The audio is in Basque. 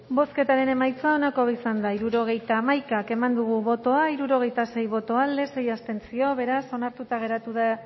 bozketaren emaitza onako izan da hirurogeita hamaika eman dugu bozka hirurogeita sei boto alde sei abstentzio beraz onartuta geratu da